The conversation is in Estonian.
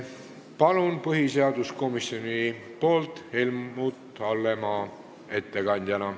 Palun, põhiseaduskomisjoni ettekandja Helmut Hallemaa!